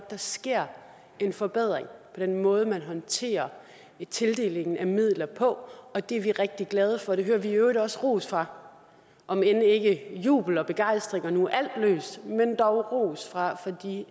der sker en forbedring på den måde man håndterer tildelingen af midler på og det er vi rigtig glade for det hører vi i øvrigt også ros for om end ikke jubel og begejstring og nu er alt løst men dog ros fra de